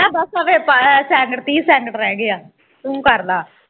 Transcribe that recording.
ਬਸ ਆਹ ਵੇਖ ਅਹ second ਤੀਹ second ਰਹਿ ਗਏਆ ਤੂੰ ਕਰ ਲਾ